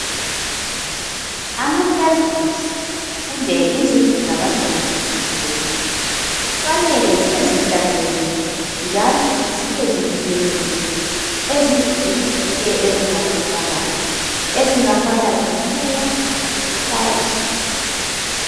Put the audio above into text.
Ama classrooms kumbe izindlu zabantwana zokufundela kufanele zibe zihlanzekile njalo zibe zivikelekile ezingozini zonke ezingatholakala ezingafana lomoya loba izulu.